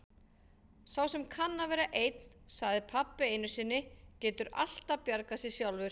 Sá sem kann að vera einn, sagði pabbi einu sinni, getur alltaf bjargað sér sjálfur.